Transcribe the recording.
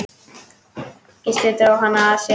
Gísli dró hana að sér.